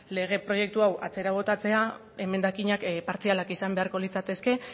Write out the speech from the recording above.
lege proiektu hau atzera botatzea emendakinak partzialak izan beharko litzateke